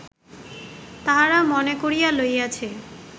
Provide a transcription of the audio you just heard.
তাহারা মনে করিয়া লইয়াছে